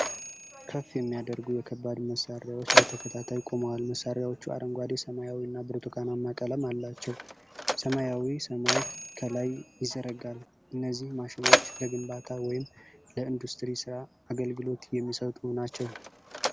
ከፍ የሚያደርጉ የከባድ መሣሪያዎች በተከታታይ ቆመዋል። መሣሪያዎቹ አረንጓዴ፣ ሰማያዊና ብርቱካናማ ቀለም አላቸው። ሰማያዊ ሰማይ ከላይ ይዘረጋል። እነዚህ ማሽኖች ለግንባታ ወይም ለኢንዱስትሪ ሥራ አገልግሎት የሚሰጡ ናቸው።